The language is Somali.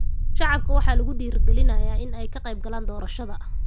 Shacabka waxaa lagu dhiirigelinayaa in ay ka qeybgalaan doorashada.